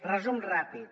resum ràpid